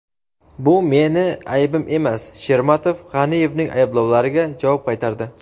bu meni aybim emas – Shermatov G‘aniyevning ayblovlariga javob qaytardi.